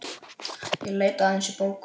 Ég leit aðeins í bók.